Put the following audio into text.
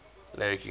larry king live